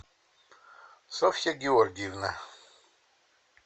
софья георгиевна